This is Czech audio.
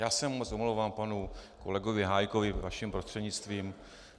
Já se moc omlouvám panu kolegovi Hájkovi vaším prostřednictvím.